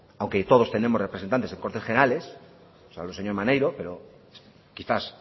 aunque todos tenemos representantes en cortes generales salvo el señor maneiro pero quizás